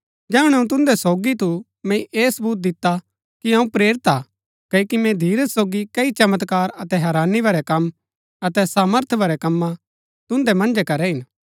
जैहणै अऊँ तुन्दै सोगी थू मैंई ऐह सबूत दिता कि अऊँ प्रेरिता हा क्ओकि मैंई धीरज सोगी कई चमत्कार अतै हैरानी भरै कम अतै सामर्थ भरै कम्मा तुन्दै मन्जै करै हिन